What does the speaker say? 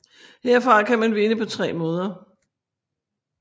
Herfra kan man vinde på tre måder